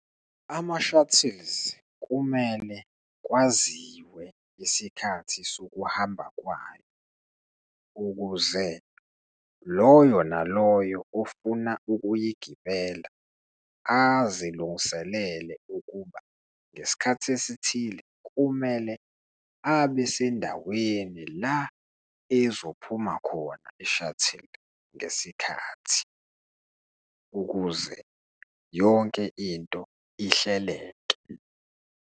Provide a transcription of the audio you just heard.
Ama-shuttles kumele kwaziwe isikhathi sokuhamba kwayo, ukuze loyo naloyo ofuna ukuyigibelela azilungiselele ukuba ngesikhathi esithile, kumele abesendaweni la ezophuma khona i-shuttle ngesikhathi, ukuze yonke into ihleleke.